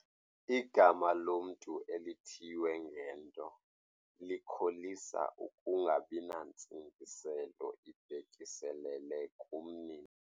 Igama lomntu elithiywe ngento likholisa ukungabi nantsingiselo ibhekiselele kumnini.